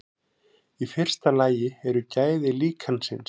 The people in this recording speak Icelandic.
Í fyrsta lagi eru gæði líkansins.